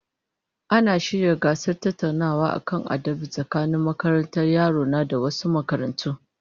Ana shirya gasar tattaunawa kan adabi tsakanin makarantar yaro na da wasu makarantu